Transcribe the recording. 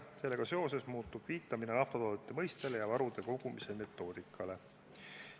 Sellega seoses muutub viitamine naftatoodete mõistele ja varude kogumise metoodikale.